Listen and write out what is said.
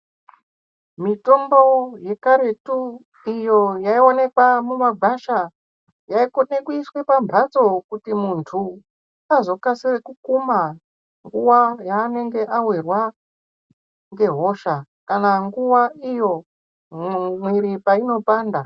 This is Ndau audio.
Mitombo yekaretu iyo yaioneke mumagwasha yaikona kuiswa pamhatso kuti muntu azokasire kukuma nguva yaangenge avirwa ngehosha. Kana nguva iyo miviri painopanda.